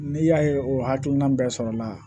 N'i y'a ye o hakilina bɛɛ sɔrɔla